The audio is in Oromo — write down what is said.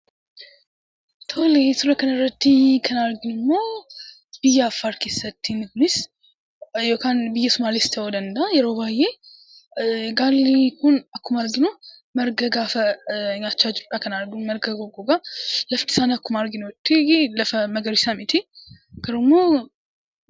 Suura kana irratti kan arginu ammoo biyya Affaar keessatti yookaan biyya Sumaalee keessa ta'uu danda'a yeroo baay'ee, gaalli kun yeroo marga nyaachaa jirudha kan arginu. Laftisaa lafa magariisa miti.